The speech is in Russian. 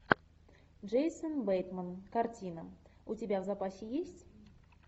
джейсон бейтман картина у тебя в запасе есть